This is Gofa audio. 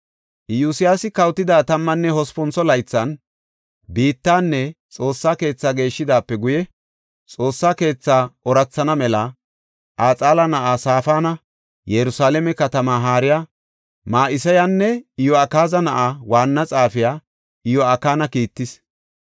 Iyosyaasi kawotida tammanne hospuntho laythan biittanne Xoossa keethaa geeshidaape guye, Xoossa keethaa oorathana mela Axala na7aa Safaana, Yerusalaame katamaa haariya Ma7iseyanne Iyo7akaaza na7aa waanna xaafiya Iyo7akina kiittis.